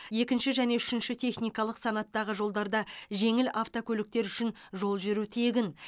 екінші және үшінші техникалық санаттағы жолдарда жеңіл автокөліктер үшін жол жүру тегін